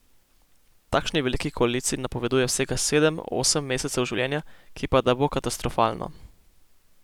Takšni veliki koaliciji napoveduje vsega sedem, osem mesecev življenja, ki pa da bo katastrofalno.